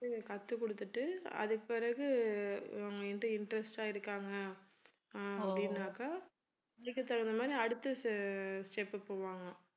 கத்துக் கொடுத்திட்டு அதுக்குபிறகு interest ஆ இருக்காங்க அஹ் அப்படின்னாக்க அதுக்கு தகுந்த மாதிரி அடுத்த step போவாங்க